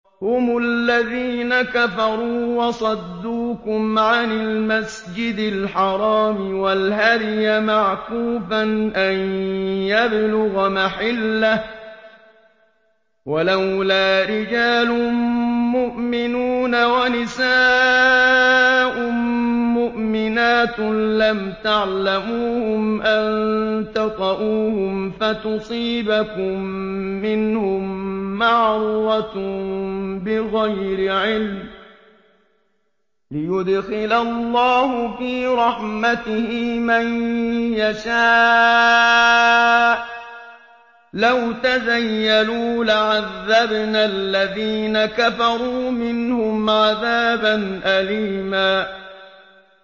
هُمُ الَّذِينَ كَفَرُوا وَصَدُّوكُمْ عَنِ الْمَسْجِدِ الْحَرَامِ وَالْهَدْيَ مَعْكُوفًا أَن يَبْلُغَ مَحِلَّهُ ۚ وَلَوْلَا رِجَالٌ مُّؤْمِنُونَ وَنِسَاءٌ مُّؤْمِنَاتٌ لَّمْ تَعْلَمُوهُمْ أَن تَطَئُوهُمْ فَتُصِيبَكُم مِّنْهُم مَّعَرَّةٌ بِغَيْرِ عِلْمٍ ۖ لِّيُدْخِلَ اللَّهُ فِي رَحْمَتِهِ مَن يَشَاءُ ۚ لَوْ تَزَيَّلُوا لَعَذَّبْنَا الَّذِينَ كَفَرُوا مِنْهُمْ عَذَابًا أَلِيمًا